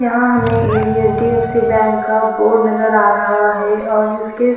यहा हमे HDFC bank का बोर्ड नज़र आ रहा है और उसके--